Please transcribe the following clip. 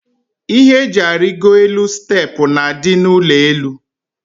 Ihe eji arigo elu steepụ na adị n' ụlọelu.